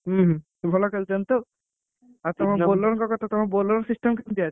ହୁଁ ହୁଁ ସେ ଭଲ ଖେଳୁଛନ୍ତି ତ ଆଉ ଆଉ ତମ bowler ଙ୍କ କଥା bowler system କେମତିଆ ଅଛି?